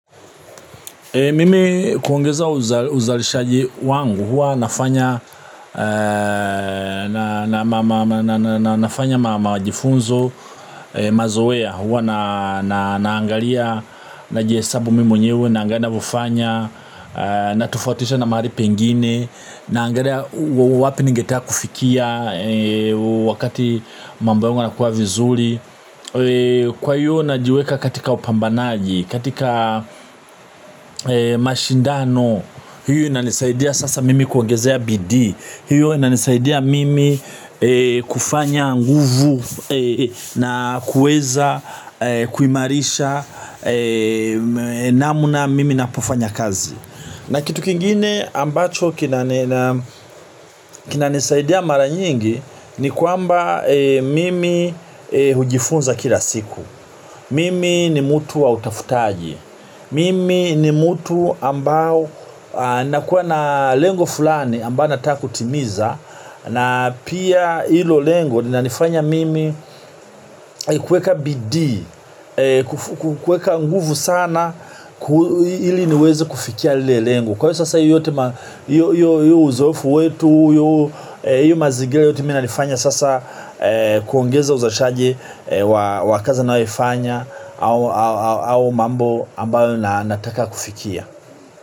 Uzalishaji wangu huwa unafanya maajifunzo mazowea huwa naangalia na jihesabu mimi mwenyewe naangalia navofanya na tofautisha na mahali pengine naangalia wapi ningeteka kufikia wakati mambo yangu yanakuwa vizuli. Kwa hiyo najiweka katika wapambanaji. Katika mashindano hiyo inanisaidia sasa mimi kuongezea bidii. Hiyo inanisaidia mimi kufanya nguvu. Na kueza kuimarisha namna mimi napofanya kazi. Na kitu kingine ambacho kinanisaidia mara nyingi ni kuamba mimi hujifunza kila siku. Mimi ni mutu wa utafutaji, mimi ni mutu ambao nakuwa na lengo fulani ambao nataka kutimiza na pia hilo lengo linanifanya mimi kuweka bidii, kuweka nguvu sana ili niwezi kufikia lile lengo. Kwa sasa hiyo uzoefu wetu, hiyo mazingila yote mi inanifanya sasa kuongeza uzalishaji wa kazi anayo ifanya au mambo ambayo na nataka kufikia.